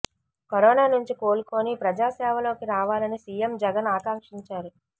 corona నుంచి కోలుకొని ప్రజాసేవలోకి రావాలని సీఎం జగన్ ఆకాంక్షించారు